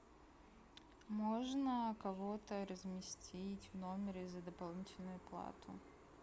можно кого то разместить в номере за дополнительную плату